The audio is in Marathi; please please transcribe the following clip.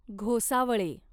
घोसावळे